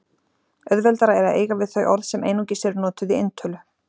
Auðveldara er að eiga við þau orð sem einungis eru notuð í eintölu.